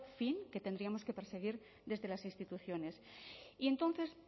fin que tendríamos que perseguir desde las instituciones y entonces